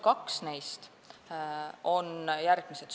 Kaks neist on järgmised.